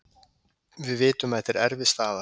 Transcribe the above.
Við vitum að þetta er erfið staða.